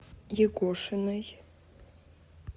егошиной